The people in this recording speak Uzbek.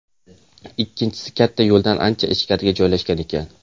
Ikkinchisi katta yo‘ldan ancha ichkarida joylashgan ekan.